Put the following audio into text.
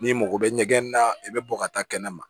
N'i mago bɛ ɲɛgɛn na i bɛ bɔ ka taa kɛnɛ ma